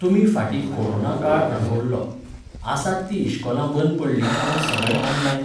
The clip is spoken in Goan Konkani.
तुमी फाटीं कोरोना काळ अणभवल्लो. आसात तीं इश्कोलां बंद पडलीं पूण सगळें ऑनलायन